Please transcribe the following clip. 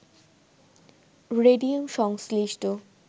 radium সংশ্লিষ্ট